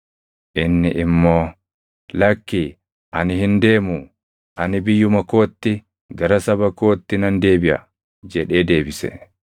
Inni immoo, “Lakki ani hin deemuu; ani biyyuma kootti gara saba kootti nan deebiʼa” jedhee deebise.